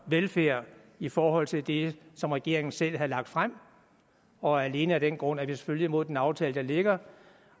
velfærd i forhold til det som regeringen selv havde lagt frem og alene af den grund er det selvfølgelig imod den aftale der ligger